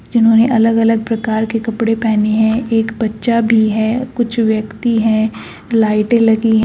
जिन्होंने अलग अलग प्रकार के कपड़े पहने हैं एक बच्चा भी है कुछ व्यक्ति हैं लाइटे लगी --